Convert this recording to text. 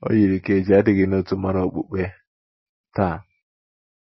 O YIRI ka e ji adịghị n’otu mara okpukpe taa.